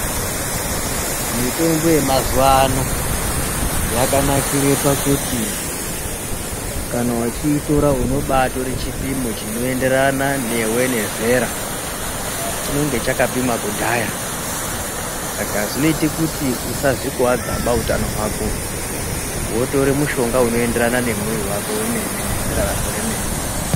Mitombo yemazuwa ano yakanakire pakuti kana uchiitora unobatore chipimo chinoenderana newe nezera. Chinenge chakapimwa kudhaya saka zvinoita kuti usazvikuwadzaba utano hwako wotora mushonga unoenderana nemwiri wako wemene nezera rako remene.